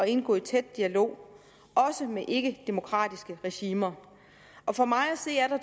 indgå i tæt dialog også med ikkedemokratiske regimer for mig at se er der